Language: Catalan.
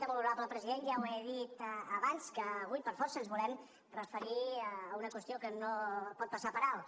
molt honorable president ja ho he dit abans que avui per força ens volem referir a una qüestió que no pot passar per alt